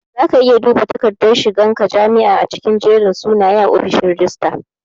Zaka iya duba dakardar shigan ka jami'a a cikin jerin sunaye a ofishin rajistara